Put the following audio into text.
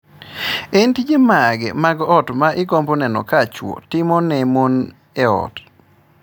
En tije mage mag ot ma igombo neno ka chwo timo ne mon e ot?